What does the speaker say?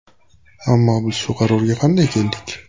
Ammo biz shu qarorga qanday keldik?